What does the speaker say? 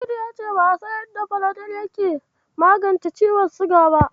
Sa'idu ya ce ba'a san yadda Falodel yake magance ciwon siga ba.